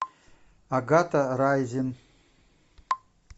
агата райзен